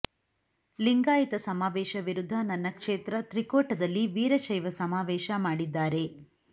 ಲಿಂಗಾಯತ ಸಮಾವೇಶ ವಿರುದ್ಧ ನನ್ನ ಕ್ಷೇತ್ರ ತ್ರಿಕೋಟದಲ್ಲಿ ವೀರಶೈವ ಸಮಾವೇಶ ಮಾಡಿದ್ದಾರೆ